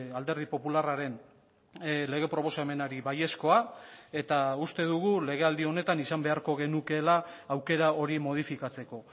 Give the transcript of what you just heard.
alderdi popularraren lege proposamenari baiezkoa eta uste dugu legealdi honetan izan beharko genukeela aukera hori modifikatzeko